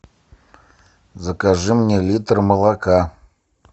закажи мне литр молока